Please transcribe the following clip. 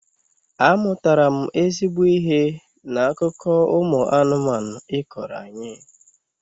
Amụtara m ezigbo ihe n'akụkọ ụmụ anụmanụ ị kọọrọ anyị